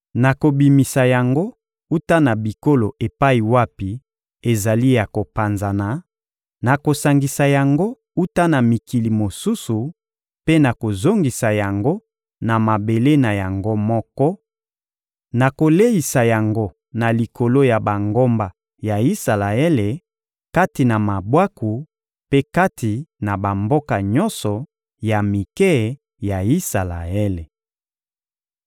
Nakobimisa yango wuta na bikolo epai wapi ezali ya kopanzana, nakosangisa yango wuta na mikili mosusu mpe nakozongisa yango na mabele na yango moko; nakoleisa yango na likolo ya bangomba ya Isalaele, kati na mabwaku mpe kati na bamboka nyonso ya mike ya Isalaele.